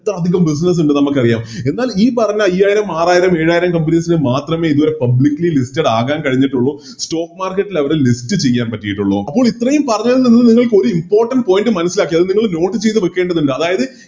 ത്ര അതികം Business ഉണ്ടെന്ന് നമുക്കറിയാം എന്നാൽ ഈ പറഞ്ഞ അയ്യായിരം ആറായിരം ഏഴായിരം Companies മാത്രമേ ഇതുവരെ Publicly listed ആവാൻ കഴിഞ്ഞിട്ടുള്ളൂ Stock market ലവിടെ List ചെയ്യാൻ പറ്റിറ്റുള്ളു അപ്പോം ഇത്രെയും പറഞ്ഞതിൽ നിന്ന് നിങ്ങൾക്ക് Important topic മനസ്സിലാക്കി അത് നിങ്ങൾ Note ചെയ്ത് വെക്കേണ്ടതുണ്ട് അതായത്